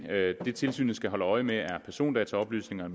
det tilsynet skal holde øje med er persondataoplysninger